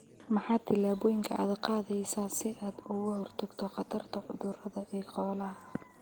Maxaa tillaabooyinka aad qaadaysaa si aad uga hortagto khatarta cudurrada ee xoolaha?